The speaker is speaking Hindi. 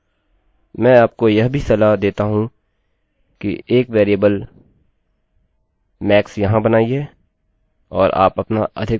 यद्यपि यह बुनियादी संरचना है मैं आपको यह भी सलाह देता हूँ कि एक वेरिएबल max यहाँ बनाइए और आप अपना अधिकतम मान यहाँ पर रखिये